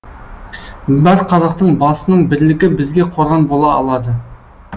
бар қазақтың басының бірлігі бізге қорған бола алады